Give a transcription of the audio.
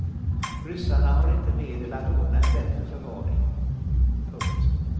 Ryssarna har inte medel att ordna en bättre förvaring. punkt